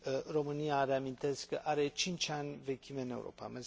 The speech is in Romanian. România, reamintesc, are 5 ani vechime în Europa.